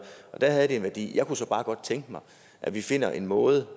og der havde det en værdi jeg kunne så bare godt tænke mig at vi finder en måde